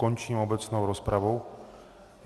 Končím obecnou rozpravu.